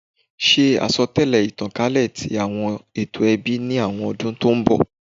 Ṣe asọtẹlẹ itankalẹ ti awọn eto ẹbi ni awọn ọdun to n bọ